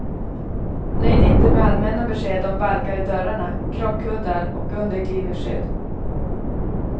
Nöj dig inte med allmänna besked om balkar i dörrarna, krockkuddar och underglidningsskydd.